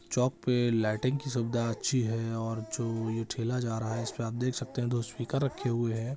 चौक पे लाइटिंग की सुविधा अच्छी है और जो ये ठेला जा रहा है उसपे आप देख सकते है दो स्पीकर रखे हुए है ।